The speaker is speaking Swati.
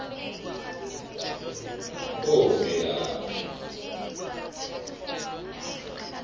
bovelaphi